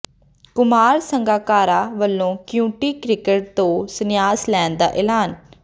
ਕੁਮਾਰ ਸੰਗਾਕਾਰਾ ਵੱਲੋਂ county cricket ਤੋਂ ਸੰਨਿਆਸ ਲੈਣ ਦਾ ਐਲਾਨ